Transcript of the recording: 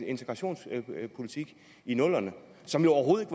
integrationspolitik i nullerne som jo overhovedet